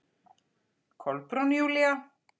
Kolbrún Júlía.